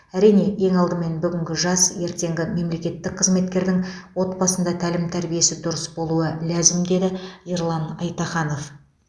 әрине ең алдымен бүгінгі жас ертеңгі мемлекеттік қызметкердің отбасында тәлім тәрбиесі дұрыс болуы ләзім деді ерлан айтаханов